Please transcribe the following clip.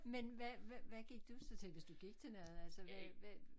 Men hvad hvad hvad gik du så til hvis du gik til noget altså hvad hvad